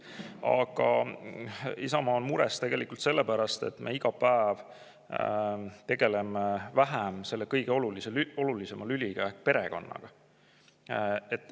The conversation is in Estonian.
Aga Isamaa on mures selle pärast, et me iga päev tegeleme aina vähem selle kõige olulisema lüliga ehk perekonnaga.